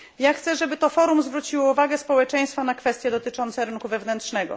Chcę, żeby to forum zwróciło uwagę społeczeństwa na kwestie dotyczące rynku wewnętrznego.